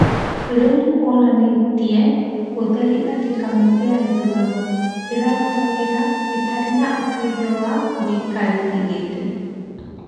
Rĩu nĩkũonanĩtie ũtheri atĩĩ kamĩtĩ ya ithurano ĩraruta wĩra ĩtarĩ na ũteithio wa mũikarĩri gĩtĩ